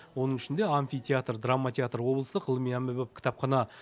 оның ішінде амфитеатр драма театр облыстық ғылыми әмбебап кітапхана